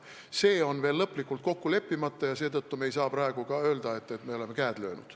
See on veel lõplikult kokku leppimata ja seetõttu ei saa me praegu ka öelda, et me oleme käed löönud.